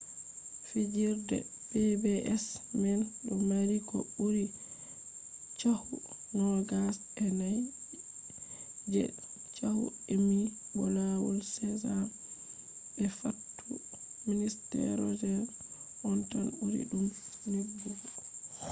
fijirde pbs man do mari ko buri chahu nogas e nai je chahu emmy bo lawol sesame be fattude mister roger on tan buri dum nebugo